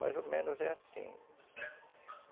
Mais ou menos é assim.